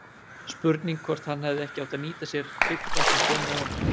Spurning hvort hann hefði ekki átt að nýta sér Tryggva sem kom með honum?